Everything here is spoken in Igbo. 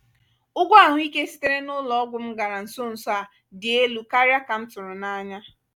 ụgwọ ahụike sitere na'ụlọọgwụ m gara nso nso a dị elu karịa ka m tụrụ anya.